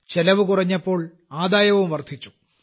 ചെലവ് കുറഞ്ഞപ്പോൾ ആദായവും വർദ്ധിച്ചു